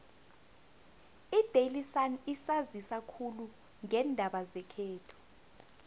idaily sun isanzisa khulu ngeendaba zekhethu